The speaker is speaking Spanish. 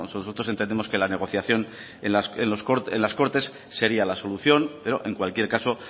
nosotros entendemos que la negociación en las cortes sería la solución pero en cualquier caso